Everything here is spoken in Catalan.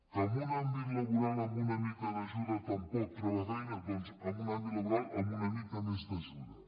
que en un àmbit laboral amb una mica d’ajuda tampoc troba feina doncs en un àmbit laboral amb una mica més d’ajuda